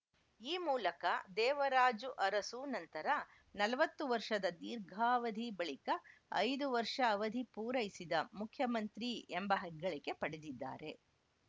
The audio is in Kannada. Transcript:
ಈ ಮೂಲಕ ದೇವರಾಜು ಅರಸು ನಂತರ ನಲವತ್ತು ವರ್ಷದ ದೀರ್ಘಾವಧಿ ಬಳಿಕ ಐದು ವರ್ಷ ಅವಧಿ ಪೂರೈಸಿದ ಮುಖ್ಯಮಂತ್ರಿ ಎಂಬ ಹೆಗ್ಗಳಿಕೆ ಪಡೆದಿದ್ದಾರೆ